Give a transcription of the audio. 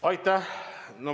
Aitäh!